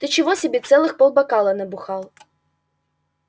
ты чего себе целых полбокала набухал